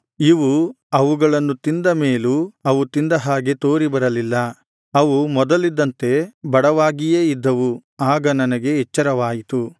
ಇವು ಅವುಗಳನ್ನು ತಿಂದ ಮೇಲೂ ಅವು ತಿಂದ ಹಾಗೆ ತೋರಿಬರಲಿಲ್ಲ ಅವು ಮೊದಲಿದ್ದಂತೆ ಬಡವಾಗಿಯೇ ಇದ್ದವು ಆಗ ನನಗೆ ಎಚ್ಚರವಾಯಿತು